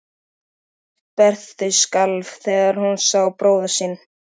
Rödd Berthu skalf þegar hún sá bróður sinn.